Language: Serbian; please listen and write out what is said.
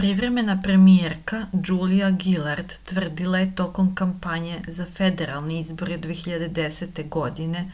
privremena premijerka džulija gilard trvdila je tokom kampanje za federalne izbore 2010. godine